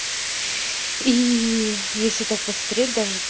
и если так посмотреть даже